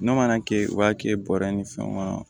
N'o mana kɛ o b'a kɛ bɔrɛ ni fɛnw kɔnɔ